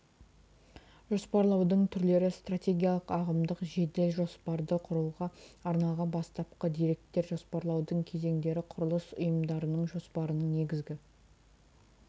жоспарлаудың түрлері стратегиялық ағымдық жедел жоспарды құруға арналған бастапқы деректер жоспарлаудың кезеңдері құрылыс ұйымдарының жоспарының негізгі